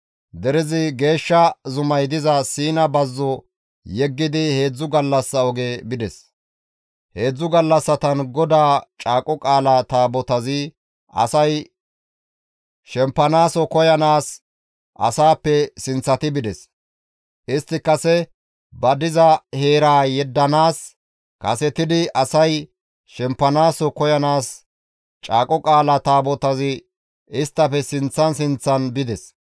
Derezi geeshsha zumay diza Siina bazzo yeggidi heedzdzu gallassa oge bides; heedzdzu gallassatan GODAA Caaqo Qaala Taabotazi asay shempanaaso koyanaas asappe sinththati bides; istti kase ba diza heeraa yeddanaappe kasetidi asay shempanaaso koyanaas Caaqo Qaalaa Taabotazi isttafe sinththan sinththan bides.